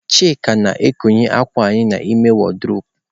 Chike na-ekowe uwe anyị n'ime wardrobe.